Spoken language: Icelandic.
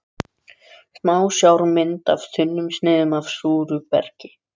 Smásjármynd af þunnsneiðum af súru bergi.